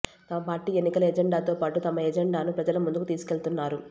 తమ పార్టీ ఎన్నికల ఎజెండాతో పాటు తమ ఎజెండానూ ప్రజల ముందుకు తీసుకెళ్తున్నారు